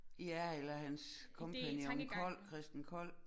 Ja eller hans kompagnon Kold Christen Kold